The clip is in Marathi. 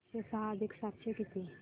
पाचशे सहा अधिक सातशे दोन किती